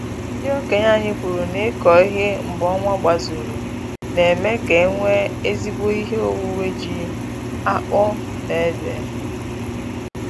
Ndị okenye anyị kwuru na ịkọ ihe mgbe ọnwa gbazuru na-eme ka enwe ezigbo ihe owuwe ji, akpụ na ede